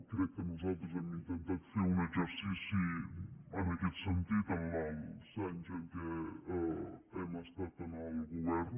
crec que nosaltres hem intentat fer un exercici en aquest sentit en els anys en què hem estat en el govern